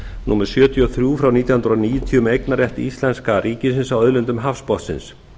númer sjötíu og þrjú nítján hundruð níutíu um eignarrétt íslenska ríkisins að auðlindum hafsbotnsins